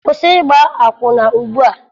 Kwụsị ịgba akwụna ugbua!